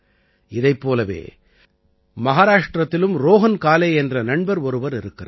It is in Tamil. இதைப் போலவே மஹாராஷ்டிரத்திலும் ரோஹன் காலே என்ற நண்பர் ஒருவர் இருக்கிறார்